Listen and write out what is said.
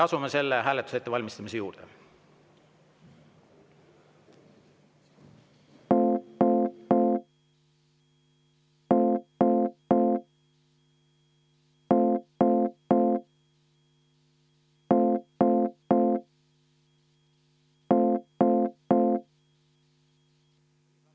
Asume selle hääletuse ettevalmistamise juurde.